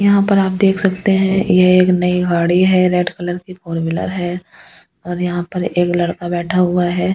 यहां पर आप देख सकते हैं ये एक नई गाड़ी है रेड कलर की फोर व्हीलर है और यहां पर एक लड़का बैठा हुआ है।